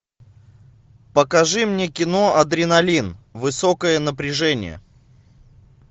покажи мне кино адреналин высокое напряжение